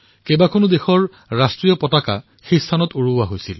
তাত একেটা সময়তে বিভিন্ন দেশৰ পতাকা উত্তোলন কৰা হৈছে